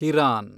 Hiran